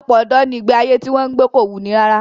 Ọ̀pọ̀lọpọ̀ ọ̀dọ́ ni ìgbé ayé tí wọ́n ń gbé kò wuni rárá